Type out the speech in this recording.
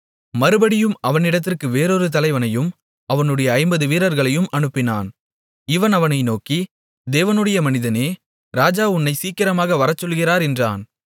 மறுபடியும் அவனிடத்திற்கு வேறொரு தலைவனையும் அவனுடைய ஐம்பது வீரர்களையும் அனுப்பினான் இவன் அவனை நோக்கி தேவனுடைய மனிதனே ராஜா உன்னைச் சீக்கிரமாக வரச்சொல்லுகிறார் என்றான்